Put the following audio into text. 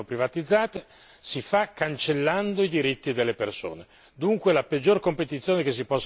la competizione fra le imprese che vengono privatizzate avviene cancellando i diritti delle persone.